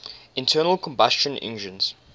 internal combustion engines